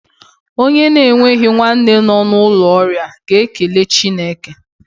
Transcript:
Onye na-enweghi nwanne nọ n'ụlọ ọrịa ga-ekele Chineke.